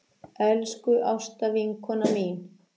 Elsku Ásta vinkona mín.